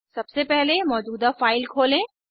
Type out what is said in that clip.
सबसे पहले मौजूदा फाइल खोलें